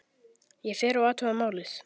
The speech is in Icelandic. Ég fer og athuga málið.